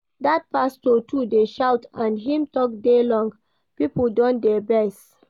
Dat pastor too dey shout and him talk dey long, people don dey vex